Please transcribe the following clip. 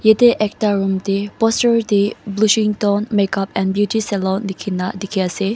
Yate ekta room teh poster teh blueshington makeup and beauty salon lekhina dekhi ase.